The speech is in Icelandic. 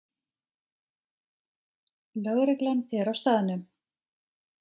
Lögreglan er á staðnum